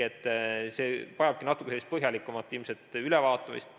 See vajabki natukene põhjalikumat ülevaatamist.